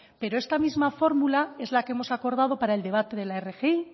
pero esta misma fórmula es la que hemos acordado para el debate de la rgi